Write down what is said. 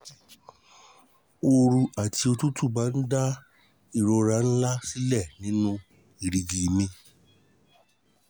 Ooru àti òtútù máa ń dá ìrora ńláǹlà sílẹ̀ nínú erìgì mi